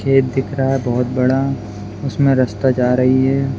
खेत दिख रहा बोहोत बड़ा उसमे रास्ता जा रही है।